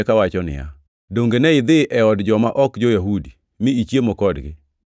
kawacho niya, “Donge ne idhi e od joma ok jo-Yahudi mi ichiemo kodgi.”